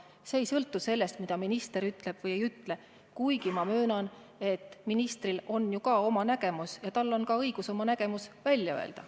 See ei sõltu sellest, mida minister ütleb või ei ütle, kuigi ma möönan, et ministril on ju ka oma nägemus ja temalgi on õigus oma nägemus välja öelda.